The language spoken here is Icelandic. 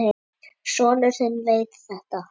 Sonur þinn veit þetta.